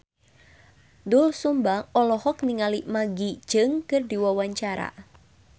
Doel Sumbang olohok ningali Maggie Cheung keur diwawancara